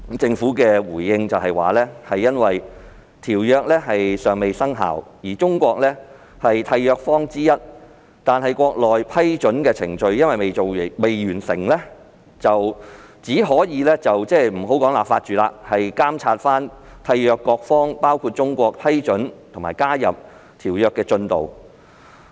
政府當時回應指《馬拉喀什條約》尚未生效，而中國是締約方之一，但國內未完成批准程序，因此不能立法，只能監察締約各方批准和加入條約的進度。